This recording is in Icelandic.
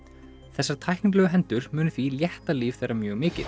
þessar tæknilegu hendur munu því létta líf þeirra mjög mikið